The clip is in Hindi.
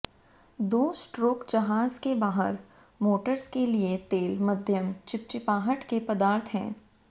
दो स्ट्रोक जहाज़ के बाहर मोटर्स के लिए तेल मध्यम चिपचिपाहट के पदार्थ हैं